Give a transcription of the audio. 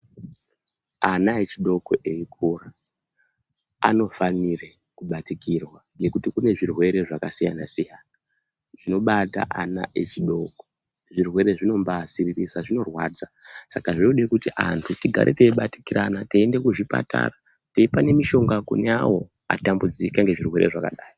Ana echidoko eikura anofanire kubatikirwa ngekuti kunezvirwere zvakasiyana siyana zvinobata ana echidoko zvirwere zvinomba siririsa zvinorwadza saka zvinodekuti antu tigare teibatikirana teiende kuzvipatara teipanemishonga kune awo atambudzika nezvirwere zvakadai.